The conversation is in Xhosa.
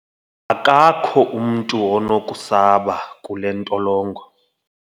akakho umntu onokusaba kule ntolongo